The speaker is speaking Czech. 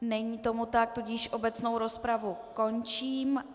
Není tomu tak, tudíž obecnou rozpravu končím.